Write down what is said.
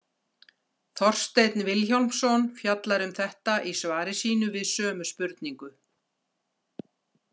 Þorsteinn Vilhjálmsson fjallar um þetta í svari sínu við sömu spurningu.